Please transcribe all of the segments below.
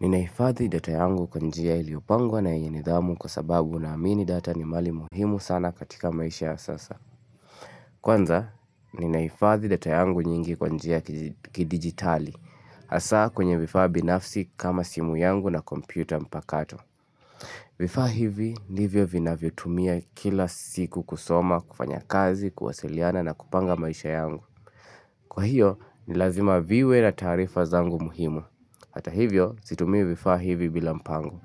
Ninaifadhi data yangu kwa njia iliopangwa na yenye nidhamu kwa sababu na amini data ni mali muhimu sana katika maisha ya sasa. Kwanza, ninaifadhi data yangu nyingi kwa njia kidigitali. Asa kwenye vifaa binafsi kama simu yangu na kompyuta mpakato. Vifaa hivi, ndivyo vinavyo tumia kila siku kusoma, kufanya kazi, kuwasiliana na kupanga maisha yangu. Kwa hiyo, nilazima viwe na tarifa zangu muhimu. Hata hivyo, situmii vifaa hivi bila mpango.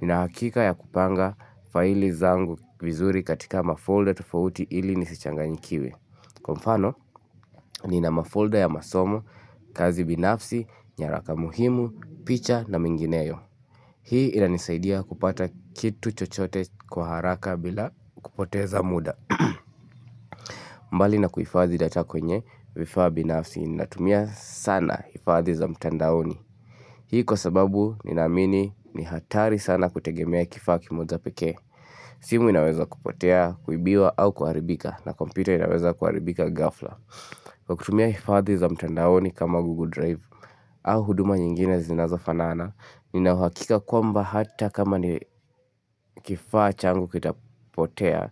Ninahakika ya kupanga faili zangu vizuri katika mafolder tufauti ili nisichanganyikiwe. Kwa mfano, nina mafolder ya masomo, kazi binafsi, nyaraka muhimu, picha na mingineyo. Hii inanisaidia kupata kitu chochote kwa haraka bila kupoteza muda. Mbali na kuifadhi data kwenye, vifaa binafsi, ninatumia sana ifadhi za mtandaoni. Hii kwa sababu, ninamini, ni hatari sana kutegemea kifaa kimoja peke. Simu inaweza kupotea, kuibiwa au kuharibika na kompyuta inaweza kuharibika gafla. Kwa kutumia hifadhi za mtandaoni kama Google Drive Au huduma nyingine zinazo fanana ninauhakika kwamba hata kama ni kifaa changu kitapotea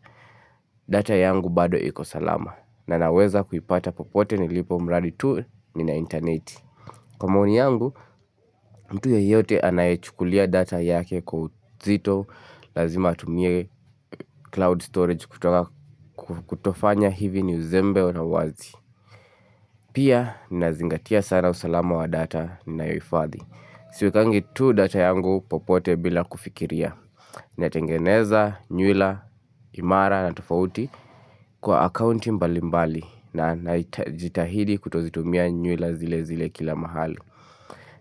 data yangu bado iko salama. Na naweza kuipata popote nilipo mradi tu nina internet. Kwa maoni yangu, mtu yeyote anayechukulia data yake kwa uzito lazima atumie cloud storage kutofanya hivi ni uzembe na uwazi. Pia nazingatia sana usalama wa data nayoifadhi. Siwekangi tu data yangu popote bila kufikiria. Na tengeneza, nyuila, imara na tofauti kwa account mbalimbali. Na najitahidi kutozitumia nyuila zile zile kila mahali.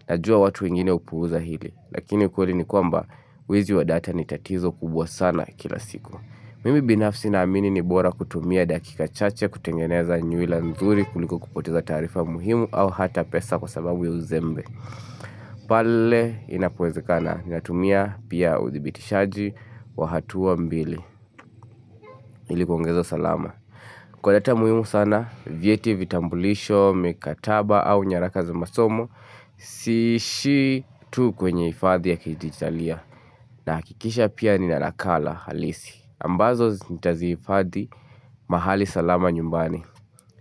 Najua watu wengine hupuuza hili. Lakini kweli ni kwamba wizi wa data ni tatizo kubwa sana kila siku. Mimi binafsi na amini ni bora kutumia dakika chache kutengeneza nyuila nzuri kuliko kupoteza taarifa muhimu au hata pesa kwa sababu ya uzembe. Pale inapowezekana, natumia pia udhibitishaji wa hatua mbili. Ili kuongeza salama. Kwa data muhimu sana, vieti vitambulisho, mikataba au nyaraka za masomo, siishi tu kwenye ifadhi ya kidigitalia. Nahakikisha pia nina nakala halisi. Ambazo ntaziifadhi mahali salama nyumbani.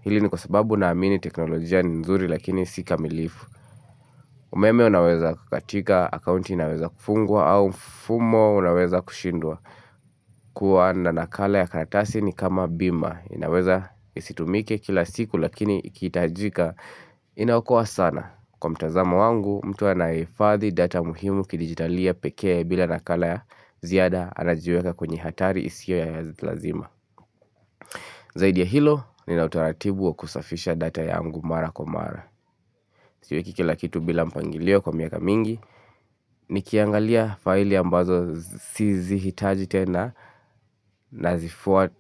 Hili ni kwa sababu naamini teknolojia ni nzuri lakini si kamilifu. Umeme unaweza kukatika, akaunti inaweza kufungwa au mfumo unaweza kushindwa. Kuwa na nakala ya karatasi ni kama bima. Inaweza isitumike kila siku lakini ikiitajika inaokoa sana. Kwa mtazamo wangu, mtu anaye ifadhi data muhimu kidijitalia peke bila ya nakala ya ziyada anajiweka kwenye hatari isiyo ya lazima. Zaidi ya hilo, nina utaratibu wa kusafisha data yangu mara kwa mara. Siweki kila kitu bila mpangilio kwa miaka mingi, nikiangalia faili ambazo sizi hitaji tena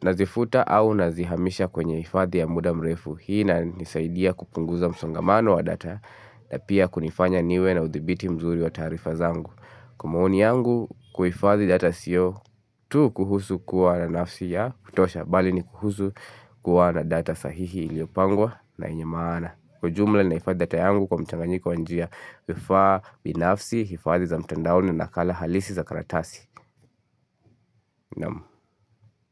nazifuta au nazihamisha kwenye ifadhi ya muda mrefu. Hii inanisaidia kupunguza msongamano wa data na pia kunifanya niwe na udhibiti mzuri wa taarifa zangu. Kwa maoni yangu kuhifadhi data siyo tu kuhusu kuwa na nafsi ya kutosha bali ni kuhusu kuwa na data sahihi iliopangwa na yenye maana. Kwa jumla nahifadhi data yangu kwa mchanganyiko wa njia. Kufa binafsi, hifadhi za mtandaoni nakala halisi za karatasi. Naamu.